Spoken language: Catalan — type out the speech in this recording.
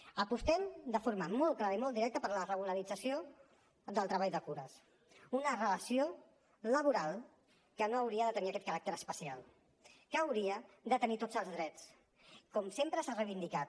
apostem de forma molt clara i molt directa per la regularització del treball de cures una relació laboral que no hauria de tenir aquest caràcter especial que hauria de tenir tots els drets com sempre s’ha reivindicat